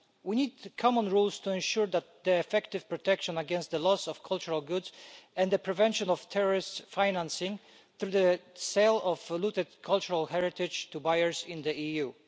We need common rules to ensure effective protection against the loss of cultural goods and the prevention of terrorist financing through the sale of looted cultural heritage to buyers in the EU.